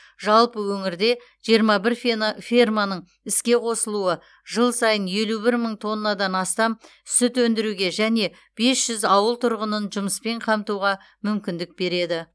жалпы өңірде жиырма бір фена ферманың іске қосылуы жыл сайын елу бір мың тоннадан астам сүт өндіруге және бес жүз ауыл тұрғынын жұмыспен қамтуға мүмкіндік береді